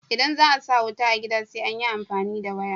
Idan za a sa wuta a gida sai an yi amfani da waya.